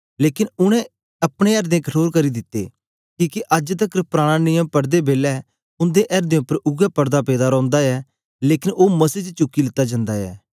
लेकन उनै अपने एर्दें कठोर करी दिते किके अज्ज तकर पराना नियम पढ़दे बेलै उंदे एर्दें उपर उवै पड़दा पेदा रौंदा ऐ लेकन ओ मसीह च चुकी लित्ता जन्दा ऐ